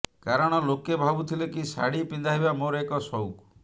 କାରଣ ଲୋକେ ଭାବୁଥିଲେ କି ଶାଢି ପିନ୍ଧାଇବା ମୋର ଏକ ସଉକ